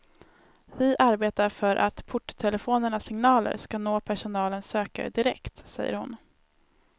Vi arbetar för att porttelefonernas signaler ska nå personalens sökare direkt, säger hon.